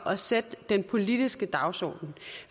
og sætte den politiske dagsorden